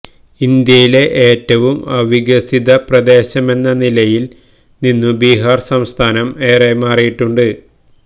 ഇന്ത്യയിലെ ഏറ്റവും അവികസിത പ്രദേശമെന്ന നിലയില് നിന്നു ബിഹാര് സംസ്ഥാനം ഏറെ മാറിയിട്ടുണ്ട്